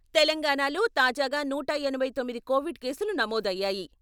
తెలంగాణాలో తాజాగా నూట ఎనభై తొమ్మిది కోవిడ్ కేసులు నమోదయ్యాయి.